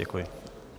Děkuji.